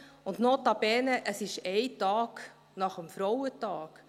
Und, notabene, es ist ein Tag nach dem Frauentag!